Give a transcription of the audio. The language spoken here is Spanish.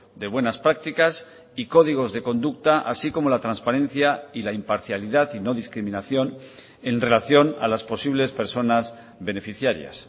de buenas prácticas y códigos de conducta así como la transparencia y la imparcialidad y no discriminación en relación a las posibles personas beneficiarias